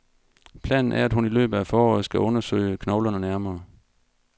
Planen er, at hun i løbet af foråret skal undersøge knoglerne nærmere.